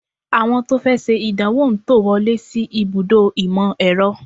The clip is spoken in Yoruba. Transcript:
Àwọn tó fẹ́ ṣe ìdánwò ń tò wọlé sí ibùdó ìmọ̀-ẹ̀rọ